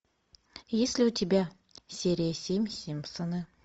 есть ли у тебя серия семь симпсоны